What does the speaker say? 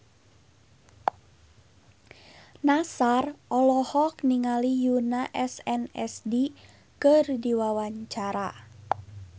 Nassar olohok ningali Yoona SNSD keur diwawancara